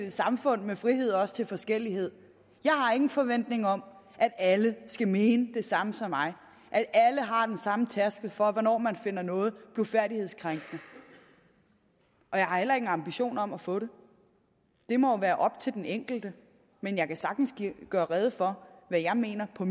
et samfund med frihed også til forskellighed jeg har ingen forventning om at alle skal mene det samme som mig at alle har den samme tærskel for hvornår man finder noget blufærdighedskrænkende og jeg har heller ingen ambition om at få det det må jo være op til den enkelte men jeg kan sagtens gøre rede for hvad jeg mener på